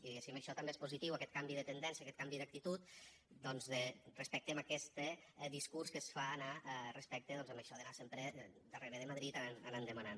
i diguéssim això també és positiu aquest canvi de tendència aquest canvi d’actitud doncs respecte a aquest discurs que es fa anar respecte a això d’anar sempre darrere de madrid anar demanant